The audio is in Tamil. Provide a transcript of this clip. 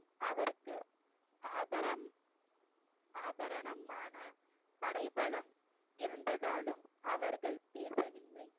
அவருக்கு ஆபரம்~ ஆபரணமான படைபலம் இருந்ததாலும் அவர்கள் பேசவில்லை